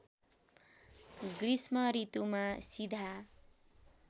गृष्म ऋतुमा सीधा